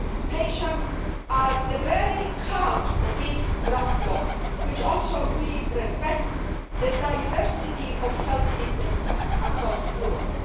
Patients are at the very heart of this draft law, which also fully respects the diversity of health systems across Europe.